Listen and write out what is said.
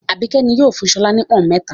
Àbíkẹ́ ni yóò fún Bọ́lá ní pọ́ń-ọ̀n mẹ́ta.